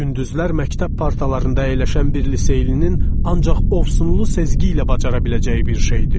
Gündüzlər məktəb partalarında əyləşən bir liseylinin ancaq ovsunlu sezgi ilə bacara biləcəyi bir şeydir.